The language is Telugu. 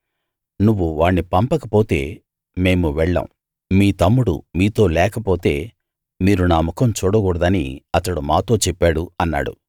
నువ్వు వాణ్ణి పంపకపోతే మేము వెళ్ళం మీ తమ్ముడు మీతో లేకపోతే మీరు నా ముఖం చూడకూడదని అతడు మాతో చెప్పాడు అన్నాడు